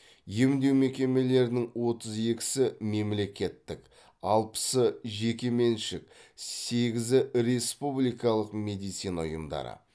емдеу мекемелерінің отыз екісі мемлекеттік алпысы жекеменшік сегізі республикалық медицина ұйымдары